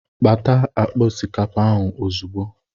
Pata akpa osikapa ahụ ozugbo!